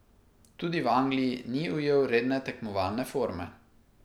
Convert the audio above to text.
Tudi v Angliji ni ujel redne tekmovalne forme.